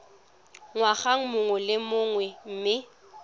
ngwaga mongwe le mongwe mme